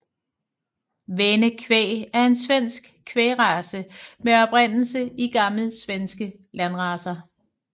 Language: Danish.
Väne kvæg er en svensk kvægrace med oprindelse i gamle svenske landracer